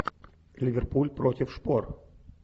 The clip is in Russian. ливерпуль против шпор